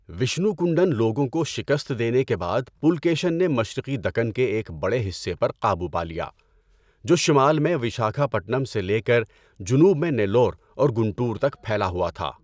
وشنو کنڈن لوگوں کو شکست دینے کے بعد پُلکیشن نے مشرقی دکن کے ایک بڑے حصے پر قابو پا لیا، جو شمال میں وشاکھاپٹنم سے لے کر جنوب میں نیلور اور گنٹور تک پھیلا ہوا تھا۔